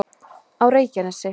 á reykjanesi